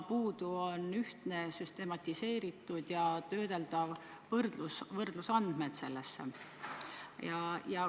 Puudu on ühtne süstematiseeritud infosüsteem, kuhu kantaks töödeldavad võrdlusandmed.